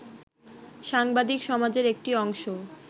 সাংবাদিক সমাজের একটি অংশ